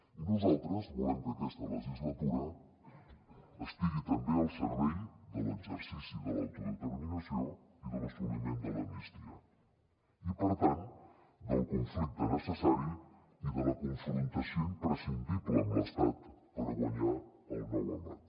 i nosaltres volem que aquesta legislatura estigui també al servei de l’exercici de l’autodeterminació i de l’assoliment de l’amnistia i per tant del conflicte necessari i de la confrontació imprescindible amb l’estat per guanyar el nou embat